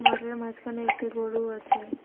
মাঠের মাঝখানে একটি গরু আছে।